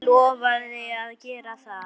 Hann lofaði að gera það.